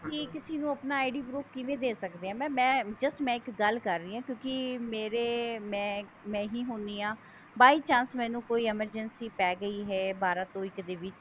ਅਸੀਂ ਕਿਸੀ ਨੂੰ ਆਪਣਾ ID proof ਕਿਵੇਂ ਦੇ ਸਕਦੇ ਹਾਂ mam ਮੈਂ just ਇੱਕ ਗੱਲ ਕਰ ਰਹੀਂ ਹਾਂ ਕਿਉਂਕਿ ਮੇਰੇ ਮੈਂ ਮੈਂ ਹੀ ਹੁਣੀ ਹਾਂ by chance ਮੈਨੂੰ ਕੋਈ emergency ਪੈ ਗਈ ਹੈ ਬਾਰਾਂ ਤੋਂ ਇੱਕ ਦੇ ਵਿੱਚ